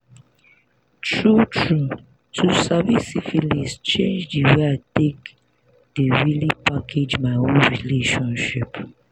true true to sabi syphilis change the way i take the really package my own relationship